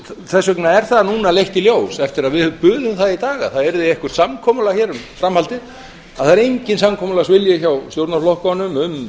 þess vegna er það núna leitt í ljós eftir að við buðum það í dag að það yrði eitthvert samkomulag um framhaldið að það er enginn samkomulagsvilji hjá stjórnarflokkunum um